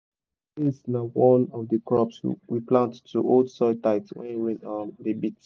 um beans na one of di crops we plant to hold soil tight when rain um dey beat.